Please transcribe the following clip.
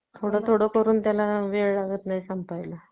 अन अंदरची सही चांगली लागेल लै चांगली त्याची तू बघ